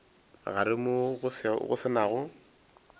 gare moo go se nago